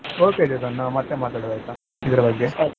Okay Chetan ನಾವ್ ಮತ್ತೆ ಮಾತಾಡುವಾ ಆಯ್ತಾ ಇದರ ಬಗ್ಗೆ.